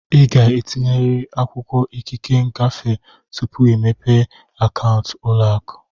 Ị ga-etinyerịrị akwụkwọ ikike ngafe tupu ịmepe akaụntụ ụlọ akụ.